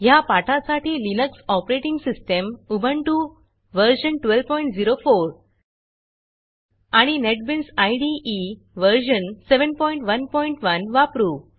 ह्या पाठासाठी Linux operating system Ubuntu व्ह1204 आणि नेटबीन्स इदे व्ह711 वापरू